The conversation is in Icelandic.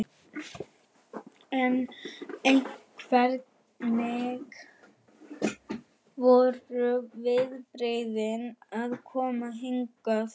En hvernig voru viðbrigðin að koma hingað?